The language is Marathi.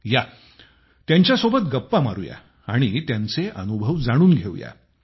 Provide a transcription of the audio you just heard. या त्यांच्यासोबत गप्पा मारूया आणि त्यांचे अनुभव जाणून घेऊया